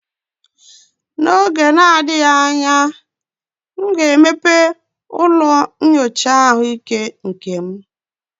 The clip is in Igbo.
N'oge na-adịghị anya, m ga-emepe ụlọ nyocha ahụike nke m